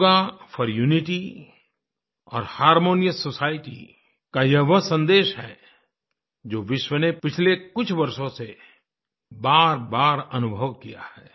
yoga for unity और harmonious society का ये वो सन्देश है जो विश्व ने पिछले कुछ वर्षों से बारबार अनुभव किया है